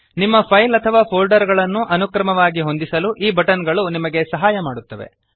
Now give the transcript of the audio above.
ನಿಮ್ಮ ಫೈಲ್ ಅಥವಾ ಫೋಲ್ಡರ್ ಗಳನ್ನು ಅನುಕ್ರಮವಾಗಿ ಹೊಂದಿಸಲು ಈ ಬಟನ್ ಗಳು ನಿಮಗೆ ಸಹಾಯ ಮಾಡುತ್ತವೆ